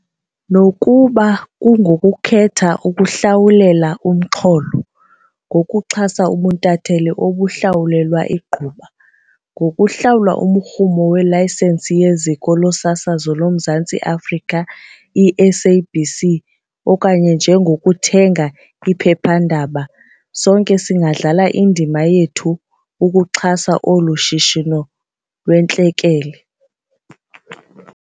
Nokuba kungokukhetha ukuhlawulela umxholo, ngokuxhasa ubuntatheli obuhlawulelwa igquba, ngokuhlawula umrhumo welayisenisi yeZiko loSasazo loMzantsi Afrika, i-SABC, okanye njengokuthenga iphephandaba, sonke singadlala indima yethu ukuxhasa olu shishino lukwintlekele.